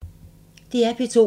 DR P2